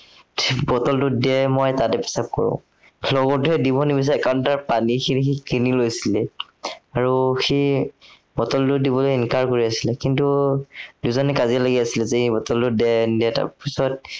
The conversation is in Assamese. bottle টো দে মই তাতে প্ৰসাৱ কৰো। লগৰটোৱে দিব নিবিচাৰে, কাৰণ তাৰ পানীখিনি কিনি লৈছিলে, আৰু সি bottle টো দিবলৈ কৰি আছিলে, কিন্তু দুইজনে কাজিয়া লাগি আছিলে যে এই bottle দি নিদিয়ে তাৰপিছত